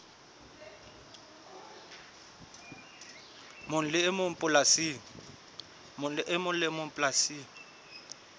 mong le e mong polasing